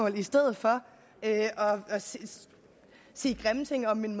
i stedet for at sige grimme ting om min